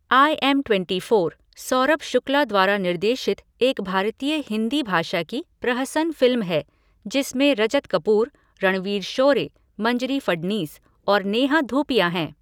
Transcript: I am twenty four, Saurabh Shukla द्वारा निर्देशित एक भारतीय हिंदी भाषा की प्रहसन फ़िल्म है जिसमें रजत कपूर, रणवीर शोरे, मंजरी फडनीस और नेहा धूपिया हैं।